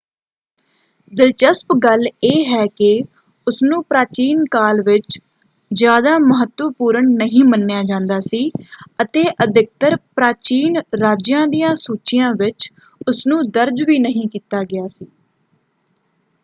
ਦਿਲਚਸਪ ਗੱਲ ਇਹ ਹੈ ਕਿ ਉਸਨੂੰ ਪ੍ਰਾਚੀਨ ਕਾਲ ਵਿੱਚ ਜਿਆਦਾ ਮਹੱਤਵਪੂਰਨ ਨਹੀਂ ਮੰਨਿਆ ਜਾਂਦਾ ਸੀ ਅਤੇ ਅਧਿਕਤਰ ਪ੍ਰਾਚੀਨ ਰਾਜਿਆਂ ਦੀਆਂ ਸੂਚੀਆਂ ਵਿੱਚ ਉਸਨੂੰ ਦਰਜ ਵੀ ਨਹੀਂ ਕੀਤਾ ਗਿਆ ਸੀ।